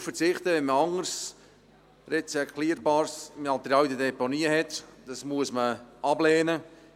Darauf zu verzichten, wenn man anderes recycelbares Material in den Deponien hat, dies muss man ablehnen.